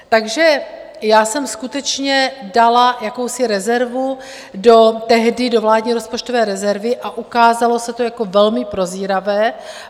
Takže já jsem skutečně dala jakousi rezervu tehdy do vládní rozpočtové rezervy a ukázalo se to jako velmi prozíravé.